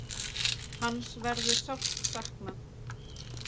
Hans verður sárt saknað.